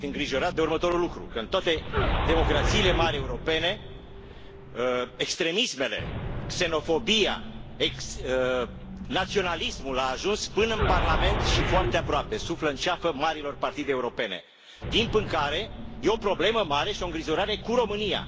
Sunt îngrijorat de următorul lucru că în toate democrațiile mari europene, extremismele, xenofobia, naționalismul au ajuns până în Parlament și foarte aproape, suflă în ceafă marilor partide europene. Timp în care e o problemă mare și îngrijorare cu România.